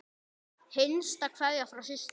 Hinsta kveðja frá systur.